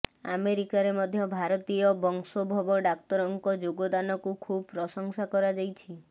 ଆମେରିକାରେ ମଧ୍ୟ ଭାରତୀୟ ବଂଶୋଦ୍ଭବ ଡାକ୍ତରଙ୍କ ଯୋଗଦାନକୁ ଖୁବ୍ ପ୍ରଶଂସା କରାଯାଇଛି